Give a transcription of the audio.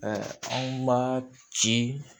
anw ma ci